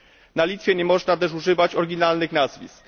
Na Litwie nie można też używać oryginalnych nazwisk.